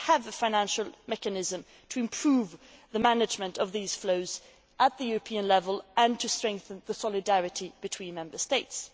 We have a financial mechanism to improve the management of these flows at the European level and to strengthen the solidarity between Member States.